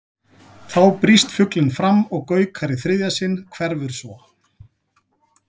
Þá brýst fuglinn fram og gaukar í þriðja sinn, hverfur svo.